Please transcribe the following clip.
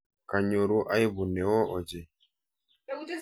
Kanyoru aibu neo ochei.